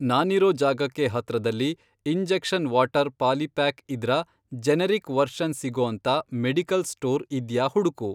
ನಾನಿರೋ ಜಾಗಕ್ಕೆ ಹತ್ರದಲ್ಲಿ ಇಂಜೆಕ್ಷನ್ ವಾಟರ್ ಪಾಲಿಪ್ಯಾಕ್ ಇದ್ರ ಜೆನೆರಿಕ್ ವರ್ಷನ್ ಸಿಗೋಂತ ಮೆಡಿಕಲ್ ಸ್ಟೋರ್ ಇದ್ಯಾ ಹುಡ್ಕು.